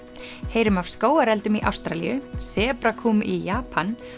heyrum af skógareldum í Ástralíu sebrakúm í Japan